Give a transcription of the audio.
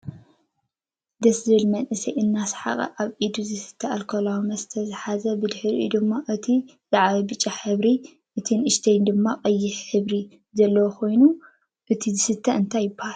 ደስ ዝብል መንእሰይ ኣናሳሕቀ ኣብ ኢዱ ዝስተ ኣልኮላዊ መስተ ዝሓዘን ብድሕሪኡ ድማ እቲይ ዝዓበየ ብጫ ሕብሪነ እቱይ ንእሽተይ ድማ ቀይሕ ሕበሪ ዘለዎ ኮይኑ እቱይ ዝስተ እንታይ ይብሃል?